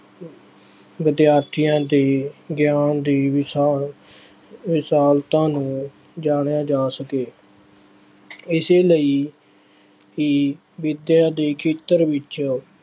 ਵਿਦਿਆਰਥੀਆਂ ਦੇ ਗਿਆਨ ਦੀ ਵਿਸ਼ਾਲ ਵਿਸ਼ਾਲਤਾ ਨੂੰ ਜਾਣਿਆ ਜਾ ਸਕੇ। ਇਸੇ ਲਈ ਹੀ ਵਿੱਦਿਆ ਦੇ ਖੇਤਰ ਵਿੱਚ।